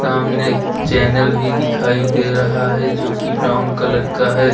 सामने एक चैनल भी दिखाई दे रहा है जो कि ब्राउन कलर का है।